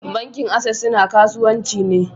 Bankin access suna kasuwanci ne.